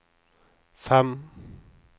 fem